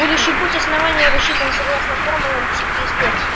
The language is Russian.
будущий путь основания рассчитан согласно формулам психоистории